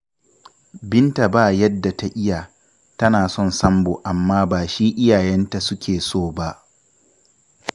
Binta ba yadda ta iya. Tana son Sambo amma ba shi iyayenta suke so ba